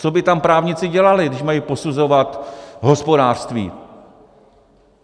Co by tam právníci dělali, když mají posuzovat hospodářství?